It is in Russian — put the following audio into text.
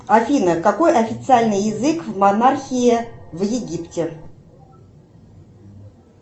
афина какой официальный язык в монархии в египте